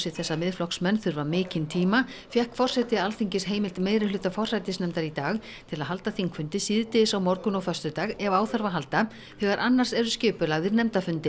þess að Miðflokksmenn þurfa mikinn tíma fékk forseti Alþingis heimild meirihluta forsætisnefndar í dag til að halda þingfundi síðdegis á morgun og föstudag ef á þarf að halda þegar annars eru skipulagðir nefndafundir